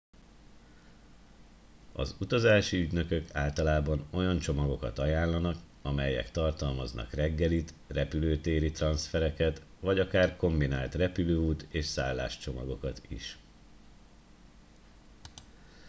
az utazási ügynökök általában olyan csomagokat ajánlanak amelyek tartalmaznak reggelit repülőtéri transzfereket vagy akár kombinált repülőút és szállás csomagokat is